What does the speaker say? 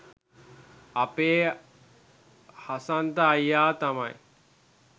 අපේ හසන්ත අයියා තමයි